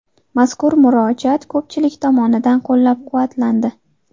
Mazkur murojaat ko‘pchilik tomonidan qo‘llab-quvvatlandi.